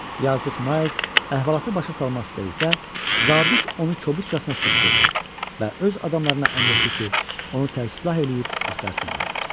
Yazıq Miles əhvalatı başa salmaq istədikdə, zabit onu kobudcasına susdurdu və öz adamlarına əmr etdi ki, onu tərk silah eləyib axtarsınlar.